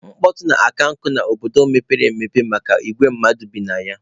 Mkpọtụ na-akankụ n'obodo mepere emepe maka igwe mmadụ bi na ya.